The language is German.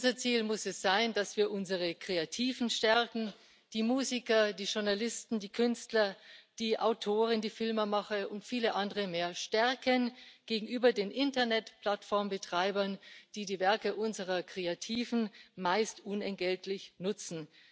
Unser Ziel muss es sein, dass wir unsere Kreativen die Musiker, die Journalisten, die Künstler, die Autoren, die Filmemacher und viele andere mehr stärken gegenüber den Internetplattformbetreibern, die die Werke unserer Kreativen meist unentgeltlich nutzen.